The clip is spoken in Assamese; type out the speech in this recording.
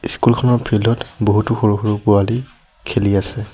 স্কুল খনৰ ফিল্ড ত বহুতো সৰু সৰু পোৱালী খেলি আছে।